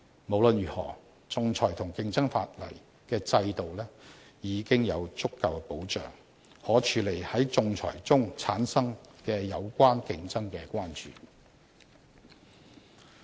無論如何，仲裁和競爭法例制度已有足夠保障，可處理在仲裁中產生的有關競爭的關注。